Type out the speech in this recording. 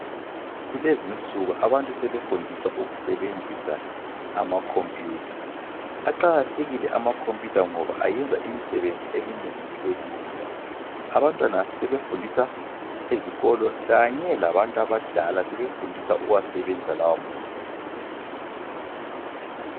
Kulezinsuku abantu sebefundiswa ukusebenzisa amakhompiyutha. Aqakathekile amakhompiyutha ngoba ayenza imisebenzi eminengi ibelula. Abantwana sebefundiswa ezikolo kanye labantu abadala sebefundiswa ukuwasebenzisa lawa makhompiyutha.